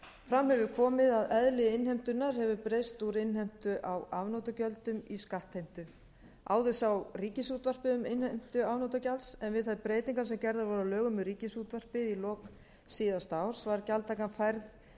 fram hefur komið að eðli innheimtunnar hefur breyst úr innheimtu á afnotagjöldum í skattheimtu áður sá ríkisútvarpið um innheimtu afnotagjalds en við þær breytingar sem gerðar voru á lögum um ríkisútvarpið í lok síðasta árs var gjaldtakan færð